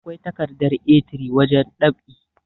akwai takardar A3 wajen ɗab'i